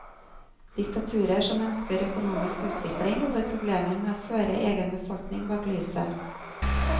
Diktaturer som ønsker økonomisk utvikling, får problemer med å føre egen befolkning bak lyset.